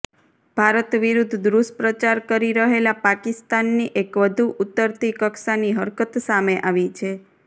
ભારત વિરૂદ્ધ દુષ્પ્રચાર કરી રહેલા પાકિસ્તાનની એક વધુ ઉતરતી કક્ષાની હરકત સામે આવી છે